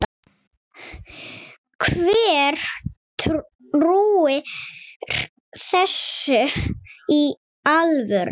Hver trúir þessu í alvöru?